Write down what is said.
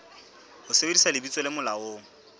ho sebedisa lebitso le molaong